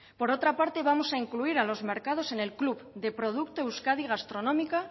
por otra parte vamos a incluir a los mercados en el club de producto euskadi gastronomika